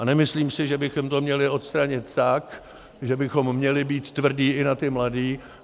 A nemyslím si, že bychom to měli odstranit tak, že bychom měli být tvrdí i na ty mladé.